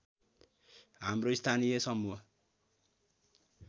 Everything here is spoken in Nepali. हाम्रो स्थानीय समूह